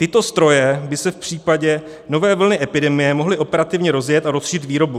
Tyto stroje by se v případě nové vlny epidemie mohly operativně rozjet a rozšířit výrobu.